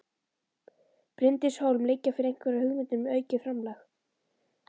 Bryndís Hólm: Liggja fyrir einhverjar hugmyndir um aukið framlag?